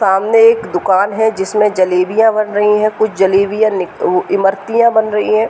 सामने एक दुकान है। जिसमे जलेबियाँ बन रही है। कुछ जलेबियाँ निक इमरतियाँ बन रही है।